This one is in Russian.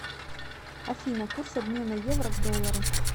афина курс обмена евро к доллару